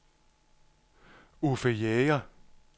Uffe Jæger